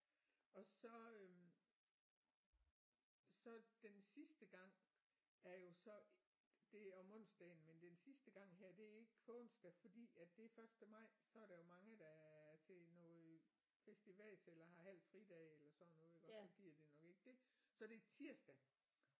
Og så øh så den sidste gang er jo så det er om onsdagen men den sidste gang her det er ikke på onsdag fordi at det er første maj og så er der mange der er til noget festivas eller har halv fridag eller sådan noget iggås så gider de nok ikke det så det er tirsdag